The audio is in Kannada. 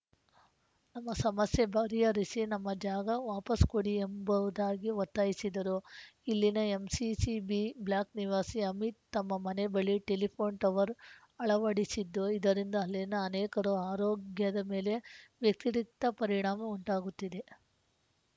ನಮ್ಮ ಸಮಸ್ಯೆ ಪರಿಹರಿಸಿ ನಮ್ಮ ಜಾಗ ವಾಪಾಸ್ಸು ಕೊಡಿ ಎಂಬುವುದಾಗಿ ಒತ್ತಾಯಿಸಿದರು ಇಲ್ಲಿನ ಎಂಸಿಸಿ ಬಿ ಬ್ಲಾಕ್‌ ನಿವಾಸಿ ಅಮೀತ್‌ ತಮ್ಮ ಮನೆ ಬಳಿ ಟೆಲಿಫೋನ್‌ ಟವರ್‌ ಅಳವಡಿಸಿದ್ದು ಇದರಿಂದ ಅಲ್ಲಿನ ಅನೇಕರ ಆರೋಗ್ಯದ ಮೇಲೆ ವ್ಯತಿರಿಕ್ತ ಪರಿಣಾಮ ಉಂಟಾಗುತ್ತಿದೆ